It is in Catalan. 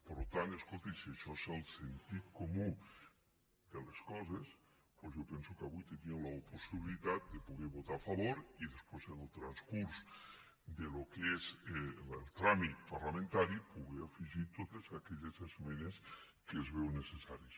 per tant escolti si això és el sentit comú de les coses doncs jo penso que avui tenien la possibilitat de poder votar hi a favor i després en el transcurs del que és el tràmit parlamentari poder afegir totes aquelles esmenes que es veuen necessàries